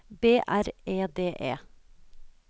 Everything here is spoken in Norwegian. B R E D E